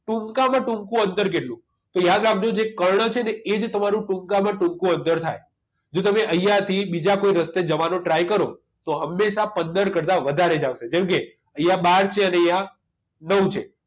ટૂંકામાં ટૂંકુ અંતર કેટલું તો યાદ રાખજો જે કર્ણ છે ને એ જ તમારું ટૂંકામાં ટૂંકું અંતર થાય જો તમે અહીંયા થી બીજા કોઈ રસ્તે જવાનો try કરો તો હંમેશા પંદર કરતાં વધારે જ આવશે જેમ કે અહીંયા બાર છે અને અહીંયા નવ છે